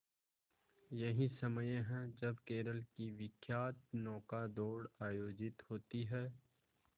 यही समय है जब केरल की विख्यात नौका दौड़ आयोजित होती है